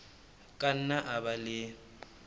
ka nna a ba le